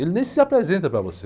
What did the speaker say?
Ele nem se apresenta para você.